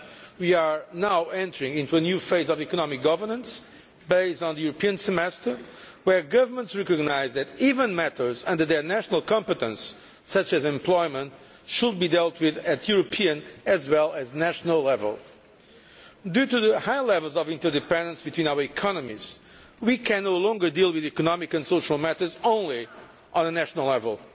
We are now entering into a new phase of economic governance, based on the European semester, where governments recognise that even matters under their national competence, such as employment, should be dealt with at European as well as national level. Due to the high levels of interdependence between our economies, we can no longer deal with economic and social matters solely at national level.